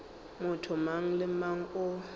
motho mang le mang o